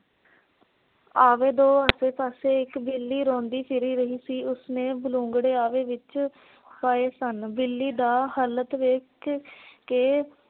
ਆਵੇ ਦੋ ਆਸੇ ਪਾਸੇ ਇੱਕ ਬਿੱਲੀ ਰੋਂਦੀ ਫਿਰੀ ਰਹੀ ਸੀ। ਉਸਨੇ ਬਲੂੰਗੜੇ ਆਵੇ ਵਿੱਚ ਪਾਏ ਸਨ । ਬਿੱਲੀ ਦਾ ਹਾਲਤ ਵੇਖ ਕੇ